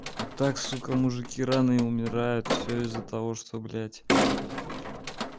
вот так сука мужики рано и умирают все из-за того что блять